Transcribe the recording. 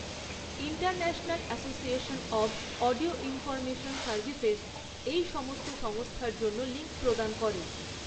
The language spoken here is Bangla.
International association of audio information services এই সমস্ত সংস্থার জন্য লিঙ্ক প্রদান করে।